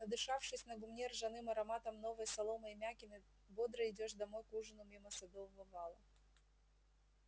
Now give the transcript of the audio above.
надышавшись на гумне ржаным ароматом новой соломы и мякины бодро идёшь домой к ужину мимо садового вала